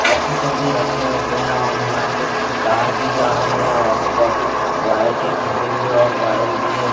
Office मे भी रखे हुए है और यहाँ पर कार भी जा रही है और आजू बाजू वायर के खंभें भी है और वायर भी है।